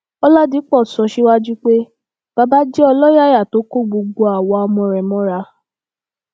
ọlàdìpọ sọ síwájú pé baba jẹ ọlọyàyà tó kó gbogbo àwa ọmọ rẹ mọra